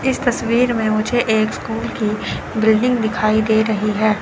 इस तस्वीर में मुझे एक स्कूल की बिल्डिंग दिखाई दे रही है।